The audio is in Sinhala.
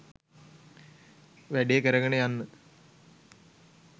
වැඩේ කරගෙන යන්න.